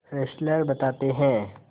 Fessler बताते हैं